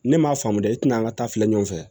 Ne m'a faamu dɛ i tina ka taa filɛ ɲɔgɔn fɛ